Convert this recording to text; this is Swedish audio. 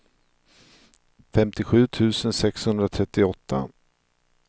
femtiosju tusen sexhundratrettioåtta